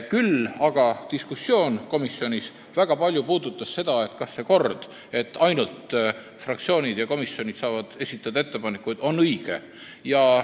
Küll aga puudutas diskussioon komisjonis väga palju seda, kas see kord, et ainult fraktsioonid ja komisjonid saavad ettepanekuid esitada, on õige.